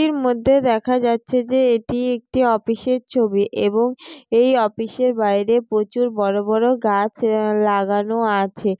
এটির মধ্যে দেখা যাচ্ছে যে এটি একটি অফিস এর ছবি এবং এই অফিস এর বাইরে প্রচুর বড়ো বড়ো গাছ আহ লাগানো আছে।